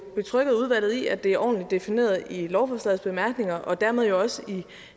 betrygget udvalget i at det er ordentligt defineret i lovforslagets bemærkninger og dermed også i